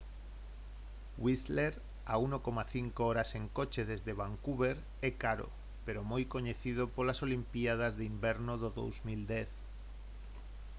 whistler a 1,5 horas en coche desde vancouver é caro pero moi coñecido polas olimpíadas de inverno do 2010